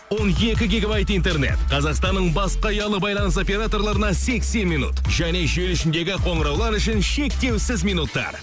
он екі гигабайт интернет қазақстанның басқа ұялы байланыс операторларына сексен минут және желі ішіндегі қоңыраулар үшін шектеусіз минуттар